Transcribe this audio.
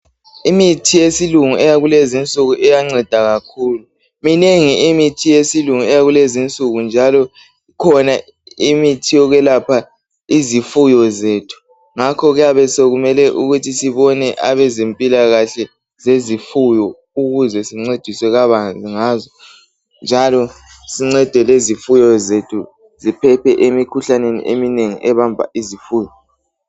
Imithi yesilungu eyakulezi insuku iyanceda kakhulu. Minengi imithi yesilungu eyakulezinsuku njalo ikhona imithi yokwelapha izifuyo zethu ngakho kuyabe sokumele ukuthi sibone abezempilakahle zezifuyo ukuze sicediswe kabanzi ngazo njalo sincede lezifuyo zethu ziphephe emikhuhlane eminengi ebamba izifuyo.